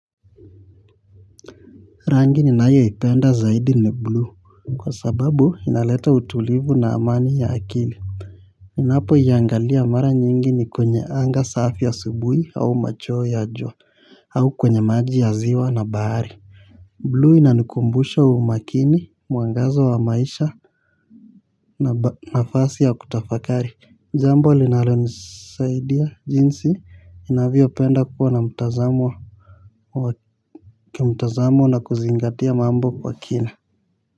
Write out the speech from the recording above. Rangi ninayopenda zaidi ni blue kwa sababu inaleta utulivu na amani ya akili. Ninapoiangalia mara nyingi ni kwenye anga safi ya asubuhi au macho ya jua au kwenye maji ya ziwa na bahari Blue inanikumbusha umakini muangazo wa maisha. Na nafasi ya kutafakari jambo linalonisaidia jinsi ninavyo penda kuwa na mtazamo wa kimtazamo na kuzingatia mambo kwa kina.